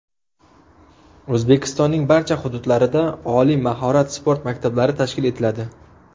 O‘zbekistonning barcha hududlarida oliy mahorat sport maktablari tashkil etiladi.